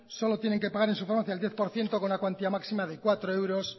solo tienen que pagar en su farmacia el diez por ciento con la cuantía máxima de cuatro